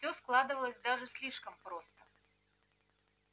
всё складывалось даже слишком просто